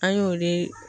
An y'o de